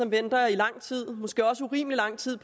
venter i lang tid måske også i urimelig lang tid